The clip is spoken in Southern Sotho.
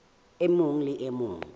e mong le e mong